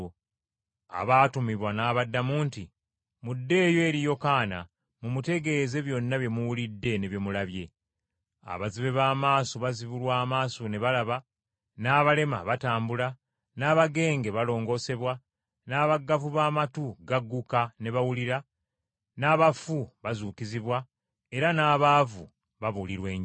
Abaatumibwa n’abaddamu nti, “Muddeeyo eri Yokaana mumutegeeze byonna bye muwulidde ne bye mulabye. Abazibe b’amaaso bazibulwa amaaso ne balaba, n’abalema batambula, n’abagenge balongoosebwa, n’abaggavu b’amatu gagguka ne bawulira, n’abafu bazuukizibwa, era n’abaavu babuulirwa Enjiri.